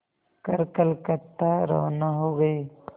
कर कलकत्ता रवाना हो गए